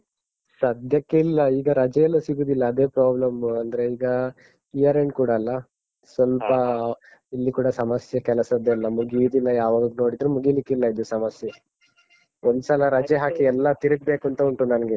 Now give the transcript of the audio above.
ಸದ್ಯಕ್ಕೆ ಇಲ್ಲ. ಈಗ ರಜೆ ಎಲ್ಲ ಸಿಗುದಿಲ್ಲ ಅದೇ problem . ಅಂದ್ರೆ ಈಗ year end ಕೂಡ ಅಲ್ಲ ಸ್ವಲ್ಪ. ಸ್ವಲ್ಪ ಇಲ್ಲಿ ಕೂಡ ಸಮಸ್ಯೆ ಕೆಲಸದ್ದೆಲ್ಲ. ಮುಗಿಯುದಿಲ್ಲ ಯಾವಾಗ್ ನೋಡಿದ್ರು ಮುಗೀಲಿಕ್ಕಿಲ್ಲ ಇದು ಸಮಸ್ಯೆ. ಒಂದ್ಸಲ ರಜೆ ಹಾಕಿ ಎಲ್ಲ ತಿರುಗ್ಬೇಕಂತ ಉಂಟು ನನ್ಗೆ.